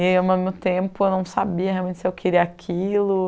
E, ao mesmo tempo, eu não sabia realmente se eu queria aquilo.